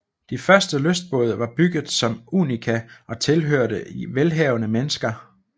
De første lystbåde var bygget som unika og tilhørte velhavende mennesker